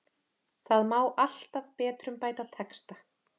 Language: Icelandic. Það má alltaf betrumbæta texta.